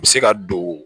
U bɛ se ka don